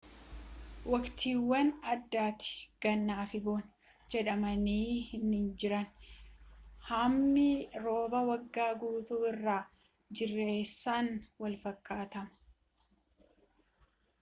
waqtiiwwan addatti ganna fi bona jedhaman hinjiran hammi roobaa waggaa guutuu irra jireessaan walfakkaataama